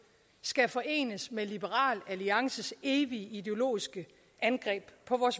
skal forenes med liberal alliances evige ideologiske angreb på